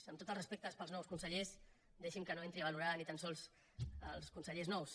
amb tots els respectes per als nous consellers deixi’m que no entri a valorar ni tan sols els consellers nous